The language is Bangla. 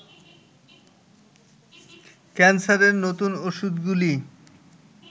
ক্যান্সারের নতুন ওষুধগুলি